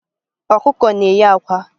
Ọkụkọ na-eyi àkwá